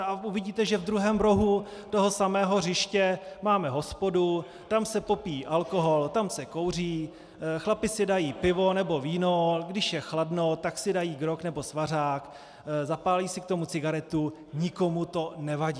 A uvidíte, že v druhém rohu toho samého hřiště máme hospodu, tam se popíjí alkohol, tam se kouří, chlapi si dají pivo nebo víno, když je chladno, tak si dají grog nebo svařák, zapálí si k tomu cigaretu, nikomu to nevadí.